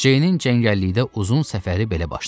Ceynin cəngəllikdə uzun səfəri belə başlandı.